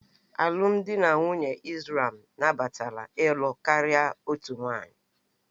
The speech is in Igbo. Alụmdi na nwunye Islam nabatara ịlụ karịa otu nwanyị